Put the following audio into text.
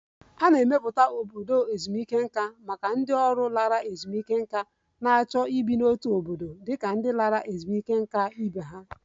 A na-emepụta obodo ezumike nká maka ndị ọrụ lara ezumike nká na-achọ ibi n'otu obodo dị ka ndị lara ezumike nká ibe ha